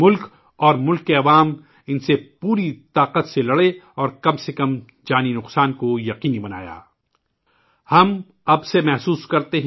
ملک اور اس کے عوام نے کم سے کم نقصان کو یقینی بنانے کے لئے ، ان کے ساتھ پوری قوت سے لڑائی لڑی